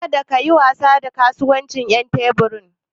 Kada kayi wasa da kasuwancin ƴan tebur ɗin.